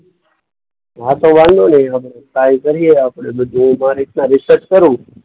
હા તો વાંધો નહીં હવે ટ્રાય કરીએ આપણે બધું. હું મારી રીતના રિસર્ચ કરું.